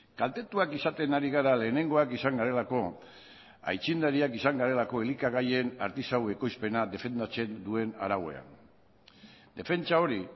kaltetuak izaten ari gara lehenengoak izan garelako aitzindariak izan garelako elikagaien artisau ekoizpena defendatzen duen arauan defentsa hori